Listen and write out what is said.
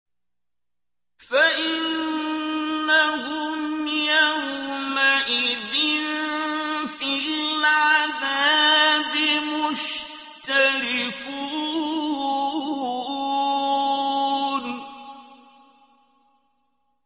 فَإِنَّهُمْ يَوْمَئِذٍ فِي الْعَذَابِ مُشْتَرِكُونَ